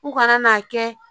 U kana n'a kɛ